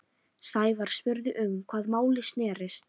Sævar spurði um hvað málið snerist.